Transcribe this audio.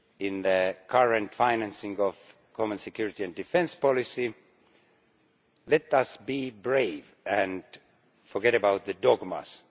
to the current financing of the common security and defence policy. Let us be brave and forget about the dogmas.